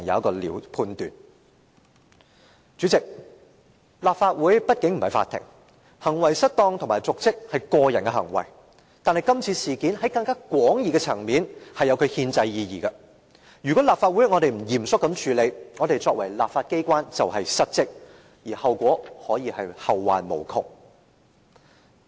代理主席，立法會畢竟不是法庭，行為失當和瀆職是個人的行為，但今次事件，在更廣義的層面，實有其憲制意義，如果立法會不嚴謹地處理，其作為立法機關便是失職，並可以是後患無窮。